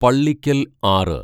പള്ളിക്കൽ ആറ്